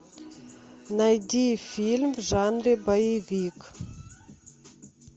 найди фильм в жанре боевик